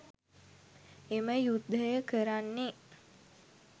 එම යුද්ධය කරන්නේ